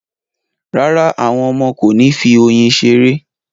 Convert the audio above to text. Rárá, àwọn ọmọ kò ní fi oyin ṣeré